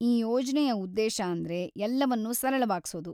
ಈ ಯೋಜ್ನೆಯ ಉದ್ದೇಶ ಅಂದ್ರೆ ಎಲ್ಲವನ್ನೂ ಸರಳವಾಗ್ಸೋದು.